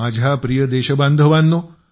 माझ्या प्रिय देशबांधवानो